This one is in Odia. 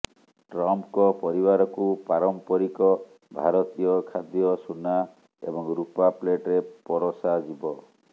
ଟ୍ରମ୍ପଙ୍କ ପରିବାରକୁ ପାରମ୍ପରିକ ଭାରତୀୟ ଖାଦ୍ୟ ସୁନା ଏବଂ ରୂପା ପ୍ଲେଟରେ ପରଷା ଯିବ